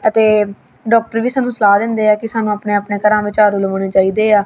ਅਤੇ ਡਾਕਟਰ ਵੀ ਸਾਨੂੰ ਸਲਾਹ ਦਿੰਦੇ ਆ ਕਿ ਸਾਨੂੰ ਆਪਣੇ ਆਪਣੇ ਘਰਾਂ ਵਿੱਚ ਝਾੜੂ ਲਗਾਨੇ ਚਾਹੀਦੇ ਆ।